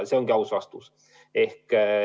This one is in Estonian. See ongi aus vastus.